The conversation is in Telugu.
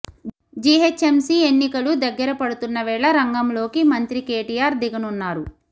జీహెచ్ఎంసీ ఎన్నికలు దగ్గర పడుతున్న వేళ రంగంలోకి మంత్రి కేటీఆర్ దిగనున్నారు